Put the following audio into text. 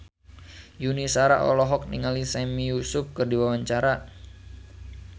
Yuni Shara olohok ningali Sami Yusuf keur diwawancara